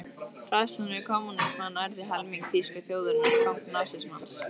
Hræðslan við kommúnismann ærði helming þýsku þjóðarinnar í fang nasismans.